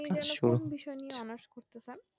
এই বলে বিষয় নিয়ে honours করতে চান